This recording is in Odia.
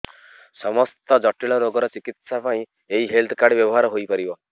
ସମସ୍ତ ଜଟିଳ ରୋଗର ଚିକିତ୍ସା ପାଇଁ ଏହି ହେଲ୍ଥ କାର୍ଡ ବ୍ୟବହାର ହୋଇପାରିବ